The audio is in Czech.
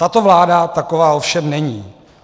Tato vláda taková ovšem není.